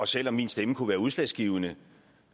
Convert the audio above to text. selv om ens stemme kunne være udslagsgivende